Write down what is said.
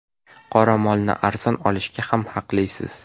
Qoramolni arzon olishga ham haqlisiz.